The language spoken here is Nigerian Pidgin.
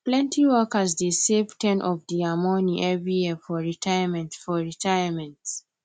plenty workers dey save ten of dia money every year for retirement for retirement